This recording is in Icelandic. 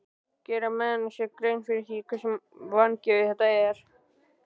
Gera menn sér grein fyrir því hversu vangefið þetta er?